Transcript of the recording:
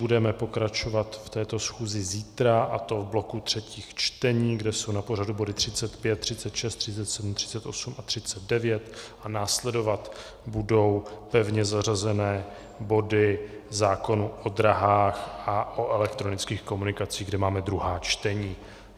Budeme pokračovat v této schůzi zítra, a to v bloku třetích čtení, kde jsou na pořadu body 35, 36, 37, 38 a 39, a následovat budou pevně zařazené body zákonu o dráhách a o elektronických komunikacích, kde máme druhá čtení.